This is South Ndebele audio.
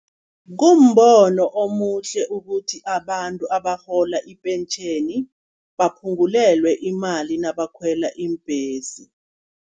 Kumbono omuhle ukuthi abantu abarhola ipentjheni, baphungulelwe imali nabakhwela iimbhesi.